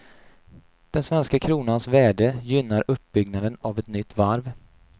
Den svenska kronans värde gynnar uppbyggnaden av ett nytt varv.